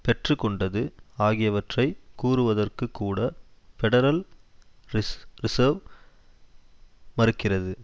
பெற்று கொண்டது ஆகியவற்றை கூறுவதற்குக் கூட பெடரல் ரிஸ ரிசர்வ் மறுக்கிறது